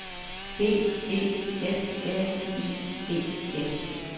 B E F R I E S